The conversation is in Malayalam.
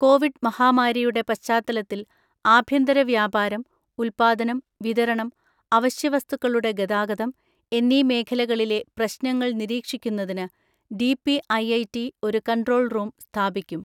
കോവിഡ് മഹാമാരിയുടെ പശ്ചാത്തലത്തിൽ ആഭ്യന്തര വ്യാപാരം, ഉത്പാദനം, വിതരണം, അവശ്യവസ്തുക്കളുടെ ഗതാഗതം എന്നീ മേഖലകളിലെ പ്രശ്നങ്ങൾ നിരീക്ഷിക്കുന്നതിന് ഡിപിഐഐടി ഒരു കൺട്രോൾ റൂം സ്ഥാപിക്കും.